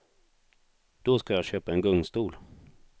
Då ska jag köpa en gungstol.